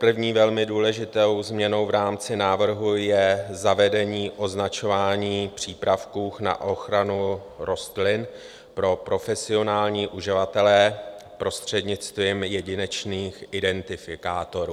První velmi důležitou změnou v rámci návrhu je zavedení označování přípravků na ochranu rostlin pro profesionální uživatele prostřednictvím jedinečných identifikátorů.